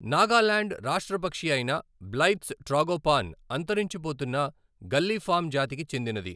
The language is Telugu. నాగాలాండ్ రాష్ట్ర పక్షి అయిన బ్లైత్స్ ట్రాగోపాన్ అంతరించిపోతున్న గల్లీఫామ్ జాతికి చెందినది.